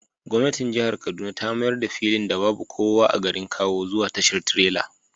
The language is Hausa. Gwamnatin jihar Kaduna ta mayar da filin da babu kowa a garin kawo zuwa tashar tirela